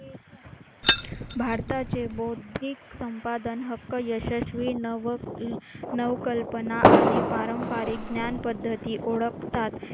भारताचे बौद्धिक संपादन हक्क यशस्वी नव नवकल्पना आणि पारंपरिक ज्ञान पद्धती ओळखतात.